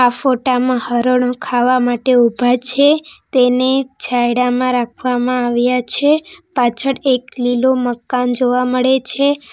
ફોટા માં હરણો ખાવા માટે ઊભા છે તેને છાંયડામાં રાખવામાં આવ્યા છે પાછળ એક લીલો મકાન જોવા મળે છે.